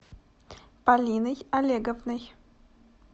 полиной олеговной